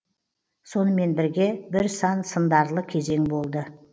сонымен бірге бір сан сындарлы кезең болды